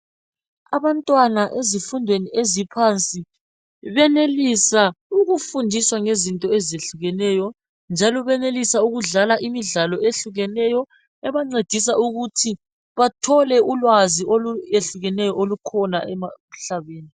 Abantwana ezifundweni zaphansi benelisa ukufundiswa ngezinto ezehlukeneyo njalo benelisa ukudlala imidlalo eyehlukeneyo ukwenzela ukuthi bathole ulwazi mayelana lezinto ezehlukeneyo emhlabeni